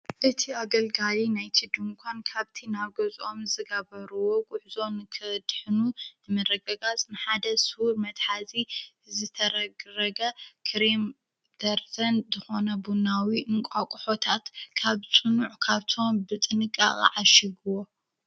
እቲ ኣገልጋይ ናይቲ ድንኳን ካብቲ ናብ ገዝኦም ዝገበርዎ ጉዕዞ ንከድሕኑ ንመረገጋፅ ንሓደ ስዉር መትሓዚ ዝተረግረገ ክሬም ደርዘን ዝኾነ ቡናዊ እንቋቆሖታት ካብ ፅኑዕ ካርቶን ብጥንቃቄ ዓሽግዎ።